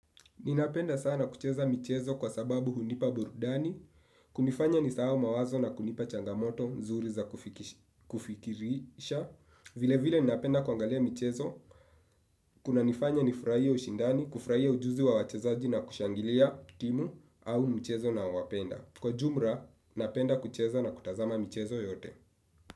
Ninapenda sana kucheza michezo kwa sababu hunipa burudani, kunifanya nisahau mawazo na kunipa changamoto zuri za kufikirisha, vile vile ninapenda kuangalia michezo, kunanifanya nifurahie ushindani, kufurahie ujuzi wa wachezaji na kushangilia timu au mchezo nawapenda. Kwa jumla, napenda kucheza na kutazama michezo yote.